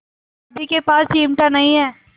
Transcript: दादी के पास चिमटा नहीं है